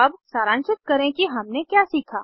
अब सारांशित करें कि हमने क्या सीखा